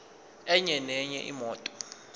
enye nenye imoto